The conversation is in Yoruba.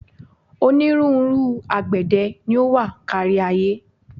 Onírúnrú àgbẹ̀dẹ ni ó wà kárí-ayé.